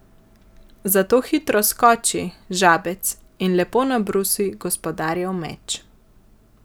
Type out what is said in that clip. Zato hitro skoči, Žabec, in lepo nabrusi gospodarjev meč.